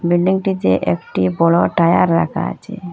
বিল্ডিংটিতে একটি বড় টায়ার রাকা আচে।